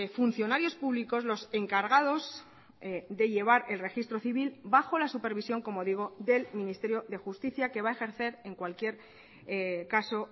funcionarios públicos los encargados de llevar el registro civil bajo la supervisión como digo del ministerio de justicia que va a ejercer en cualquier caso